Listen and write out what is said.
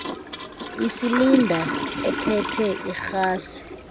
isilinda ephethe irhasi